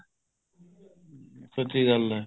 ਸੱਚੀ ਗੱਲ ਹੈ